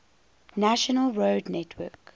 national road network